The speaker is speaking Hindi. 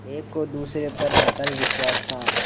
एक को दूसरे पर अटल विश्वास था